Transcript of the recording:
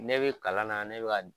Ne bi kalan na ne bi ka